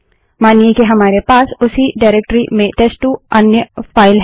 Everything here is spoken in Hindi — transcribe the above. मानिए कि हमारे पास उसी डाइरेक्टरी में टेस्ट2 अन्य फाइल है